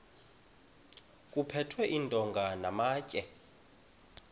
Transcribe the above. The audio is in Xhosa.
kuphethwe iintonga namatye